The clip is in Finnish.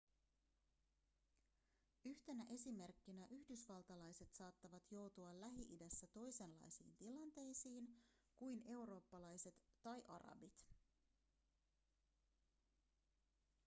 yhtenä esimerkkinä yhdysvaltalaiset saattavat joutua lähi-idässä toisenlaisiin tilanteisiin kuin eurooppalaiset tai arabit